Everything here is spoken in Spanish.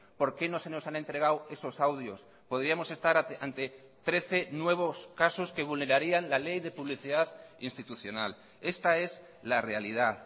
por qué no se nos han entregado esos audios podríamos estar ante trece nuevos casos que vulnerarían la ley de publicidad institucional esta es la realidad